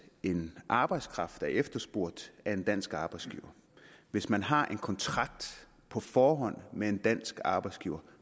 en arbejdskraft er efterspurgt af en dansk arbejdsgiver hvis man har en kontrakt på forhånd med en dansk arbejdsgiver